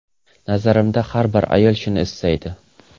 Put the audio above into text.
Nazarimda har bir ayol shuni istaydi”.